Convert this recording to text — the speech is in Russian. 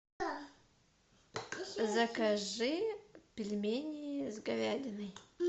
закажи пельмени с говядиной